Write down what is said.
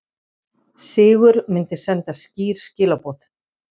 Sigur myndi senda skýr skilaboð